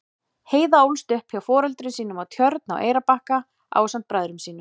Heiða ólst upp hjá foreldrum sínum á Tjörn á Eyrarbakka ásamt bræðrum sínum.